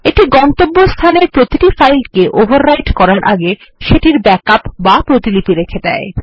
এটি গন্তব্যস্থানের প্রতিটি ফাইলকে ওভাররাইট করার আগে সেটির ব্যাকআপ বা প্রতিলিপি রেখে দেয়